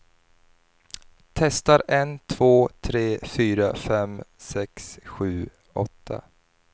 Testar en två tre fyra fem sex sju åtta.